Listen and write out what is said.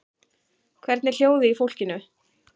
Hvernig er hljóðið í fólkinu?